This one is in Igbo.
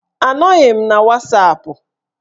Anọghị m na wasapụ